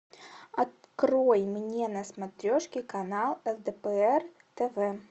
открой мне на смотрешке канал лдпр тв